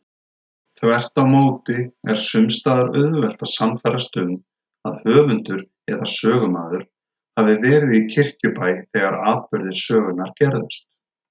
Þvert á móti er sums staðar auðvelt að sannfærast um að höfundur eða sögumaður hafi verið í Kirkjubæ þegar atburðir sögunnar gerðust.